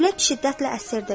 Külək şiddətlə əsirdi.